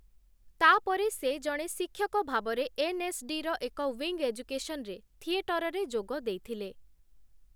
ତା'ପରେ ସେ ଜଣେ ଶିକ୍ଷକ ଭାବରେ ଏନ୍‌ଏସ୍‌ଡିର ଏକ ୱିଙ୍ଗ୍ ଏଜୁକେସନ୍ ରେ ଥିଏଟରରେ ଯୋଗ ଦେଇଥିଲେ ।